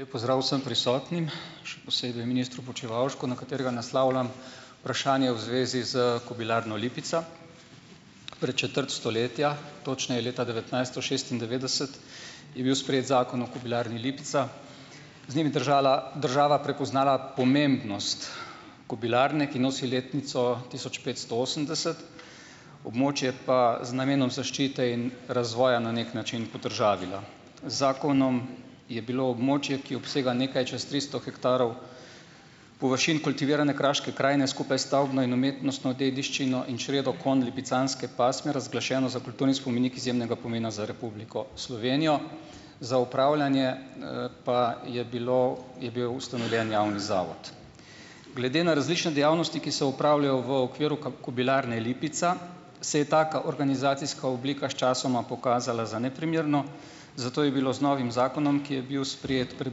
Lep pozdrav vsem prisotnim, še posebej ministru Počivalšku, na katerega naslavljam vprašanje v zvezi s Kobilarno Lipica. Pred četrt stoletja, točneje leta devetnajststo šestindevetdeset je bil sprejet Zakon o Kobilarni Lipica. Z njim je država prepoznala pomembnost kobilarne, ki nosi letnico tisoč petsto osemdeset. Območje pa z namenom zaščite in razvoja na neki način podržavila. Zakonom je bilo območje, ki obsega nekaj čas tristo hektarov površin kultivirane kraške krajine skupaj s stavbno in umetnostno dediščino in čredo konj lipicanske pasme, razglašeno za kulturni spomenik izjemnega pomena za Republiko Slovenijo. Za opravljanje, pa je bilo, je bil ustanovljen javni zavod . Glede na različne dejavnosti, ki se opravljajo v okviru Kobilarne Lipica, se je taka organizacijska oblika sčasoma pokazala za neprimerno, zato je bilo z novim zakonom, ki je bil sprejet pred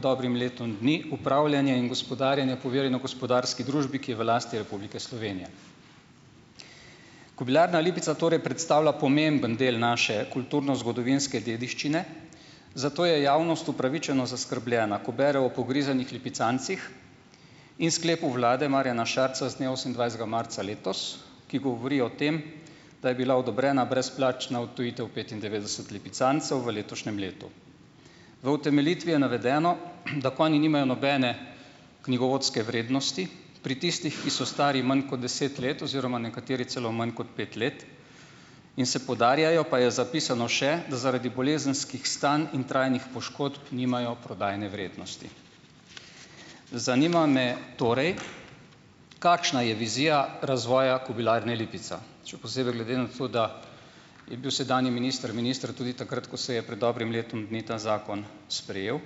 dobrim letom dni, upravljanje in gospodarjenje poverjeno gospodarski družbi, ki je v lasti Republike Slovenije. Kobilarna Lipica torej predstavlja pomemben del naše kulturno-zgodovinske dediščine, zato je javnost upravičeno zaskrbljena, ko bere o pogrizenih lipicancih in sklepu vlade Marjana Šarca z dne osemindvajsetega marca letos, ki govori o tem, da je bila odobrena brezplačna odtujitev petindevetdeset lipicancev v letošnjem letu. V utemeljitvi je navedeno, da konji nimajo nobene knjigovodske vrednosti, pri tistih, ki so stari manj kot deset let oziroma nekateri celo manj kot pet let in se podarjajo, pa je zapisano še, da zaradi bolezenskih stanj in trajnih poškodb nimajo prodajne vrednosti. Zanima me torej, kakšna je vizija razvoja Kobilarne Lipica. Še posebej glede na to, da je bil sedanji minister minister tudi takrat, ko se je prej dobrim letom dni ta zakon sprejel.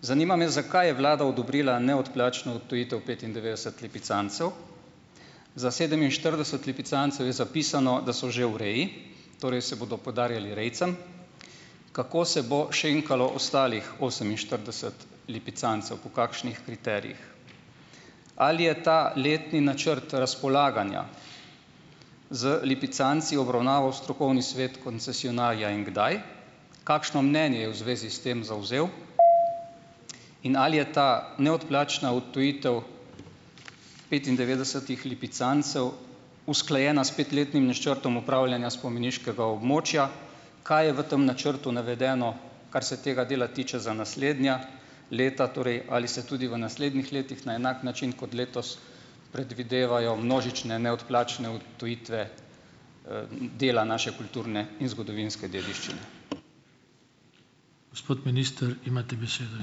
Zanima me, zakaj je vlada odobrila neodplačno odtujitev petindevetdeset lipicancev, za sedeminštirideset lipicancev je zapisano, da so že v redu, torej se bodo podarjali rejcem. Kako se bo šenkalo ostalih oseminštirideset lipicancev, v kakšnih kriterijih? Ali je ta letni načrt razpolaganja z lipicanci obravnaval strokovni svet koncesionarja in kdaj? Kakšno mnenje je v zvezi s tem zavzel? In ali je ta neodplačna odtujitev petindevetdesetih lipicancev usklajena s petletnim načrtom upravljanja spomeniškega območja, kaj je v tam načrtu navedeno, kar se tega dela tiče, za naslednja leta, torej, ali se tudi v naslednjih letih na enak način kot letos predvidevajo množične neodplačne odtujitve, dela naše kulturne in zgodovinske dediščine . Gospod minister, imate besedo,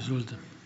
izvolite.